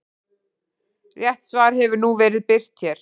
Rétt svar hefur nú verið birt hér.